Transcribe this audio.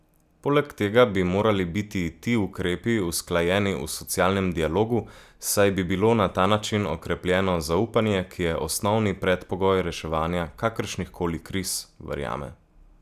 Poleg tega bi morali biti ti ukrepi usklajeni v socialnem dialogu, saj bi bilo na ta način okrepljeno zaupanje, ki je osnovni predpogoj reševanja kakršnihkoli kriz, verjame.